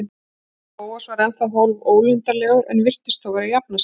Bóas var ennþá hálfólundarlegur en virtist þó vera að jafna sig.